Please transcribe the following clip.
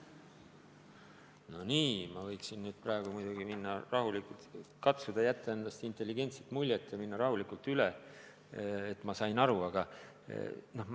No nii, ma võiksin nüüd muidugi katsuda jätta endast intelligentse inimese muljet ja rahulikult vastata, et sain viitest aru.